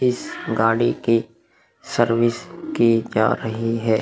इस गाड़ी के सर्विस की जा रही है।